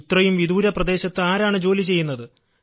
ഇത്രയും വിദൂര പ്രദേശത്ത് ആരാണ് ജോലി ചെയ്യുന്നത്